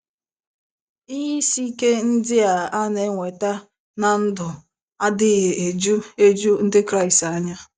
Ihe isi ike ndị a a na - enweta ná ndụ adịghị eju eju Ndị Kraịst anya.